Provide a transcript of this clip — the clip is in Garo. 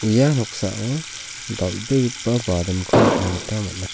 ia noksao dal·begipa nikna gita man·a.